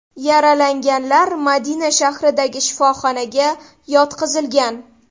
Yaralanganlar Madina shahridagi shifoxonaga yotqizilgan.